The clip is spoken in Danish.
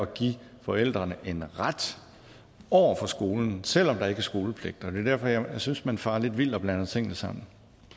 give forældrene en ret over for skolen selv om der ikke er skolepligt og det er derfor jeg synes man farer lidt vild og blander tingene sammen